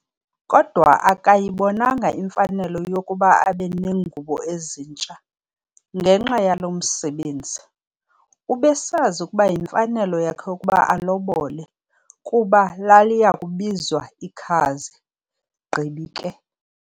Kodwa akayibonanga imfanelo yokuba abe nengubo ezintsha, ngenxa yalo msebenzi. ubesazi ukuba yimfanelo yakhe ukuba alobole, kuba laliyakubizwa ikhazi, gqibi ke.